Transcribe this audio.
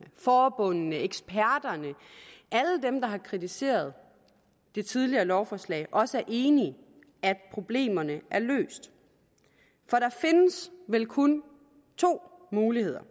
forbundene eksperterne alle dem der har kritiseret det tidligere lovforslag også er enige i at problemerne er løst for der findes vel kun to muligheder